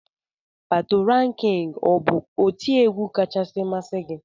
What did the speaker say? Patoranking ọ bụ otiegwu kachasị masị gi?